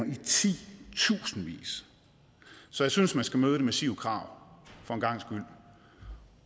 i titusindvis så jeg synes man skal møde det massive krav for en gangs skyld